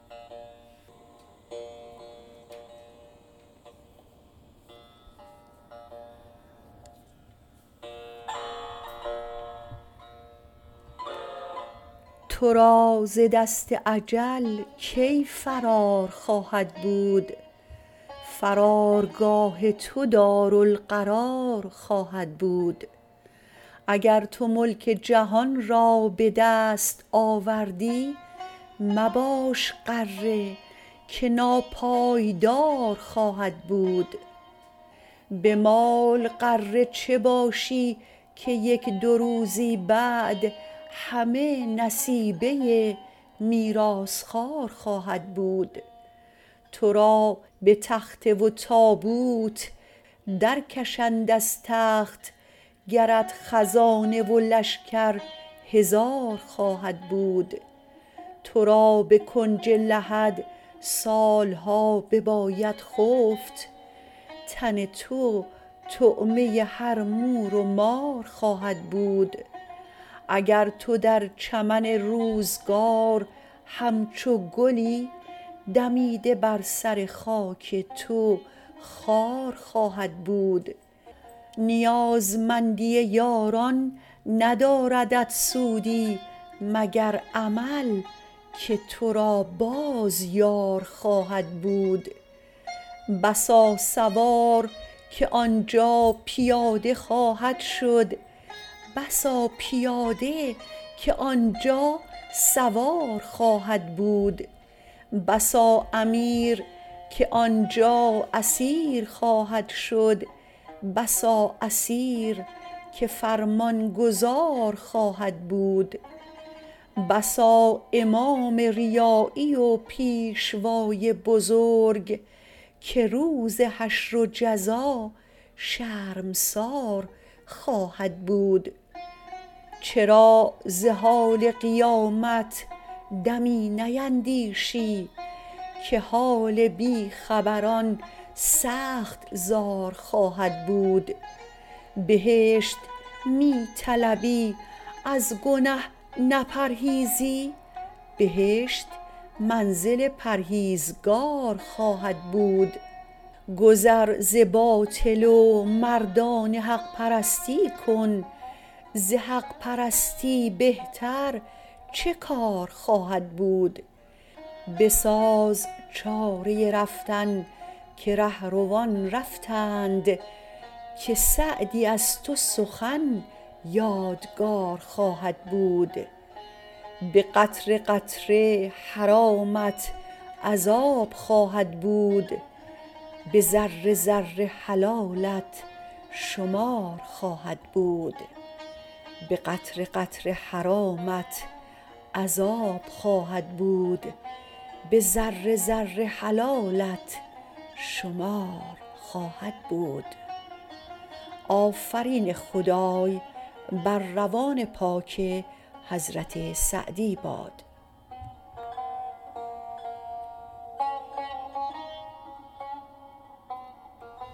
تو را ز دست اجل کی فرار خواهد بود فرارگاه تو دارالقرار خواهد بود اگر تو ملک جهان را به دست آوردی مباش غره که ناپایدار خواهد بود به مال غره چه باشی که یک دو روزی بعد همه نصیبه میراث خوار خواهد بود تو را به تخته و تابوت درکشند از تخت گرت خزانه و لشکر هزار خواهد بود تو را به کنج لحد سالها بباید خفت تن تو طعمه هر مور و مار خواهد بود اگر تو در چمن روزگار همچو گلی دمیده بر سر خاک تو خار خواهد بود نیازمندی یاران نداردت سودی مگر عمل که تو را باز یار خواهد بود بسا سوار که آنجا پیاده خواهد شد بسا پیاده که آنجا سوار خواهد بود بسا امیر که آنجا اسیر خواهد شد بسا اسیر که فرمانگذار خواهد بود بسا امام ریایی و پیشوای بزرگ که روز حشر و جزا شرمسار خواهد بود چرا ز حال قیامت دمی نیندیشی که حال بیخبران سخت زار خواهد بود بهشت می طلبی از گنه نپرهیزی بهشت منزل پرهیزگار خواهد بود گذر ز باطل و مردانه حق پرستی کن ز حق پرستی بهتر چه کار خواهد بود بساز چاره رفتن که رهروان رفتند که سعدی از تو سخن یادگار خواهد بود به قطره قطره حرامت عذابت خواهد بود به ذره ذره حلالت شمار خواهد بود